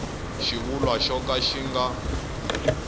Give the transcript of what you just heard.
xivulwa xo ka xi nga